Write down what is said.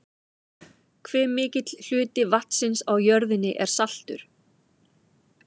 hve mikill hluti vatnsins á jörðinni er saltur